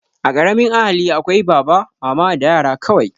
A ƙaramin ahali akwai baba, mama da yara kawai